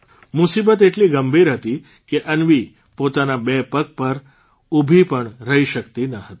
મુસીબત એટલી ગંભીર હતી કે અન્વી પોતાના બે પગ પર ઉભી પણ રહી શક્તી પણ ન હતી